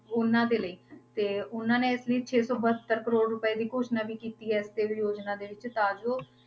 ਉਹਨਾਂ ਦੇ ਲਈ ਤੇ ਉਹਨਾਂ ਨੇ ਇਸ ਲਈ ਛੇ ਸੌ ਬਹੱਤਰ ਕਰੌੜ ਰੁਪਏ ਦੀ ਘੋਸ਼ਣਾ ਵੀ ਕੀਤੀ ਹੈ ਯੋਜਨਾ ਦੇੇ ਵਿੱਚ ਤਾਂ ਜੋ